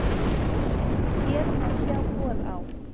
Hér má sjá boð á